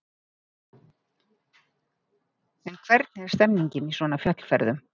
En hvernig er stemningin í svona fjallferðum?